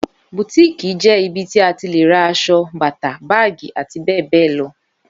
Bùtíìkì jẹ ìbí tí àtí lè rà àsọ, bàtà, bàgí, àti bẹ bẹ lọ